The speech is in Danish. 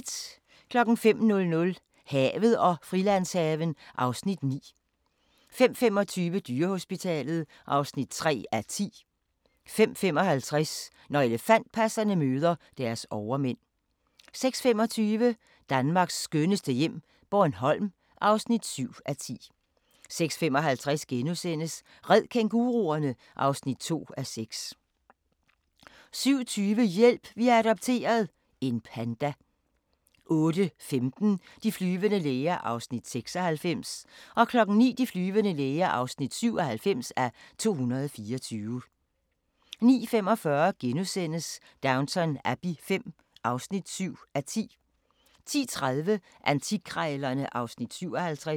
05:00: Havet og Frilandshaven (Afs. 9) 05:25: Dyrehospitalet (3:10) 05:55: Når elefantpasserne møder deres overmænd 06:25: Danmarks skønneste hjem - Bornholm (7:10) 06:55: Red kænguruerne! (2:6)* 07:20: Hjælp! Vi har adopteret – en panda 08:15: De flyvende læger (96:224) 09:00: De flyvende læger (97:224) 09:45: Downton Abbey V (7:10)* 10:30: Antikkrejlerne (Afs. 57)